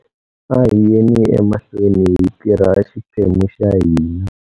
A hi yeni emahlweni hi tirha xiphemu xa hina.